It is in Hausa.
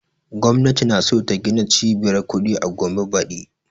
Gwamnati na so ta gina cibiyar kuɗi a gombe badi